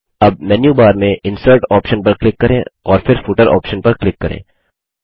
अब menu bar में insert option पर क्लिक करें और फिर फूटर ऑप्शन पर क्लिक करें